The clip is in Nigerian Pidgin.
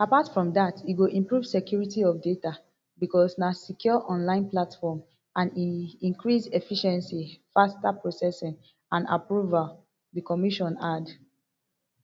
apart from dat e go improve security of data bicos na secure online platform and e increase efficiency faster processing and approval di commission add